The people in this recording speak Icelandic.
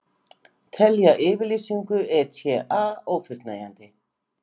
Telja yfirlýsingu ETA ófullnægjandi